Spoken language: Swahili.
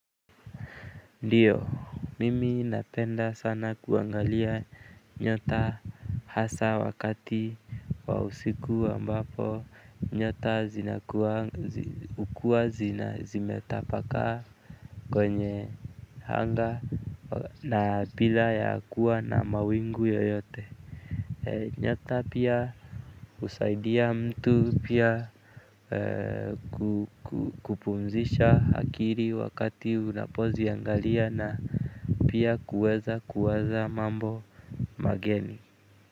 Ndiyo, mimi napenda sana kuangalia nyota hasa wakati wa usiku ambapo nyota zinakuwa hukua zina zimetapakaa kwenye anga na bila ya kuwa na mawingu yoyote. Nyota pia husaidia mtu pia kupumzisha akili wakati unapoziangalia na pia kuweza kuwaza mambo mageni.